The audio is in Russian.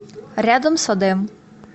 рядом садэм